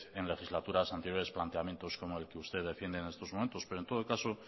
en legislaturas anteriores planteamientos como el que usted defiende en estos momentos pero en todo caso